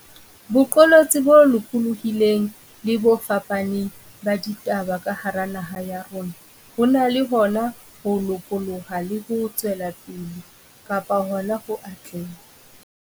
Boqolotsi bo lokolohileng le bo fapaneng ba ditaba ka hara naha ya rona bo na le hona ho lopoloha le ho tswela pele kapa hona ho atleha.